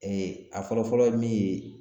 a fɔlɔ fɔlɔ ye min ye